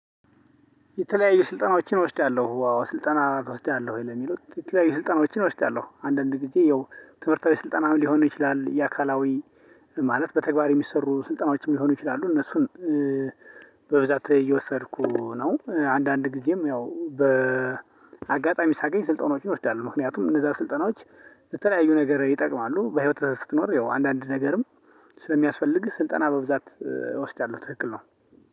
የተለያዩ ስልጠናዎችን እወስዳለሁ አዎ ስልጠና ትወስዳለህ ለሚለው የተለያዩ ስልጠናዎችን እወስዳለሁ አንዳንድ ጊዜ ያው ትምህርታዊ ስልጠናም ሊሆን ይችላል። የአካላዊ ማለት በተግባር የሚሰሩ ስልጠናዎችም ሊሆኑ ይችላሉ። እነሱን በብዛት እየወሰድኩ ነው። አንዳንድ ጊዜም ያው በአጋጣሚ ሳገኝ ስልጠናዎችን እወስዳለሁ። ምክንያቱም እነዛ ስልጠናዎች ለተለያዩ ነገር ይጠቅማሉ። በህይወትህ ስትኖር ያው አንዳንድ ነገርም ስለሚያስፈልግህ ስልጠና በብዛት እወስዳለሁ። ትክክል ነው